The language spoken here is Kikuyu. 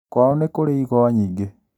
Kwao nĩkũrĩ igwa nyingĩ